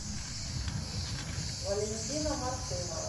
валентина мартынова